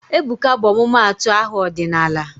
Ebuka bụ ọmụmaatụ aha ọdịnala